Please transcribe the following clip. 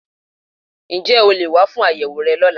Ǹ jé o leè wá fún àyẹ̀wò rẹ lọ́la